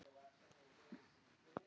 Hún er ekki að tala í alvöru.